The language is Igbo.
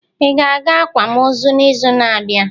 Ị ga-aga akwam ozu n'izu na-abịa?